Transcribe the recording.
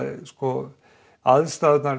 aðstæðurnar